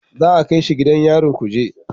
Za a kai shi gidan yarin kuje